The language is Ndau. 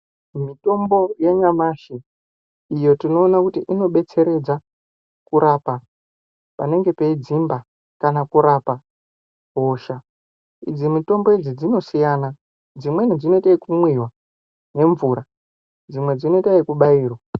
Mitombo ya nyamashi iyo tinoona kuti inobetseredza kurapa panenge pei dzimba kana kurapa hosha idzi mitombo idzi dzinosiyana dzimweni dzinoite yeku mwiwa ne mvura dzimwe dzinoita yeku bairwa.